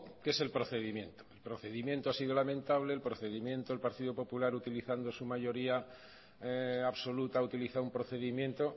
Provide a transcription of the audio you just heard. que es el procedimiento el procedimiento ha sido lamentable el procedimiento del partido popular utilizando su mayoría absoluta utiliza un procedimiento